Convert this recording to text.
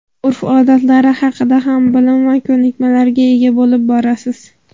urf-odatlari haqida ham bilim va ko‘nikmalarga ega bo‘lib borasiz.